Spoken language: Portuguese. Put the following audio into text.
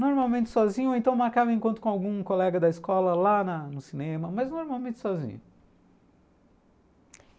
Normalmente sozinho, ou então marcava um encontro com algum colega da escola lá no cinema, mas normalmente sozinho.